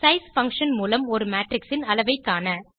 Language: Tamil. size பங்ஷன் மூலம் ஒரு மேட்ரிக்ஸ் ன் அளவைக் காண